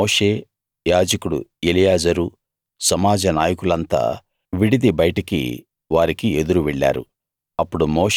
అప్పుడు మోషే యాజకుడు ఎలియాజరు సమాజ నాయకులంతా విడిది బయటికి వారికి ఎదురు వెళ్ళారు